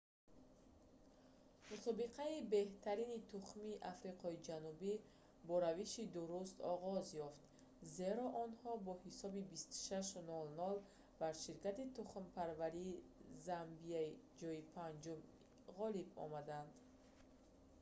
мусобиқаи беҳтарини тухмии африқои ҷанубӣ бо равиши дуруст оғоз ёфт зеро онҳо бо ҳисоби 26-00 бар ширкати тухмипарварии замбияи ҷойи 5-ум ғолиб омаданд